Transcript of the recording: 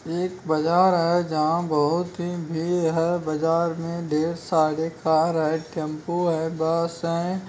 एक बाजार है जहाँ बहुत भीड़ है बाजार में ढेर सारे कार आये टेम्पो हैं बस है।